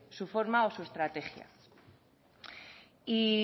su forma o su estrategia y